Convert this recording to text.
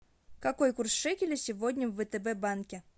какой курс шекеля сегодня в втб банке